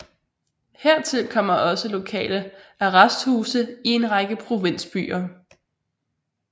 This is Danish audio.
Hertil kommer også lokale arresthuse i en række provinsbyer